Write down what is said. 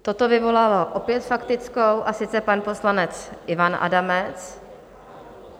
Toto vyvolalo opět faktickou, a sice pan poslanec Ivan Adamec.